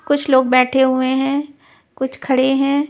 कुछ लोग बैठे हुए हैं कुछ खड़े हैं.